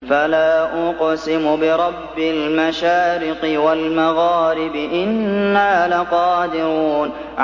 فَلَا أُقْسِمُ بِرَبِّ الْمَشَارِقِ وَالْمَغَارِبِ إِنَّا لَقَادِرُونَ